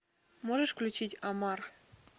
можешь включить омар